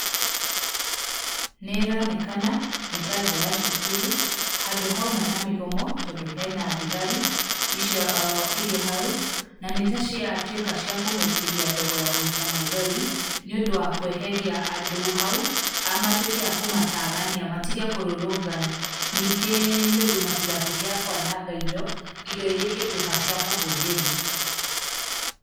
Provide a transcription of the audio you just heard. Nĩ ĩronekana, nĩta nja ya cukuru handũ hauma na mĩgomo tondũ hena thigari icio irĩ hau, na nĩ taciatwĩka cia kũmaikĩria ndogo ya gũita maithori nĩ ũndũ wa kweheria andũ hau, matwĩke a kũmatagania matige kũrũrũngana. Ningĩ nĩ ũndũ matigatwĩke a kwananga indo, indo iria ingĩtwĩka cia kũhũthĩrwo.